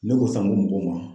Ne ko san to n ma